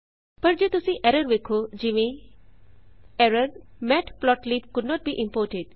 ਪਰ ਜੇ ਤੁਸੀਂ ਐਰਰ ਵੇਖੋ ਜਿਵੇਂ ERROR matplotlib could not be imported